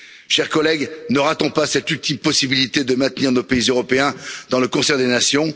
Chers collègues, ne ratons pas cette ultime possibilité de maintenir nos pays européens dans le concert des nations.